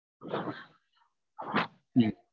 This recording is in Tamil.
ஹம்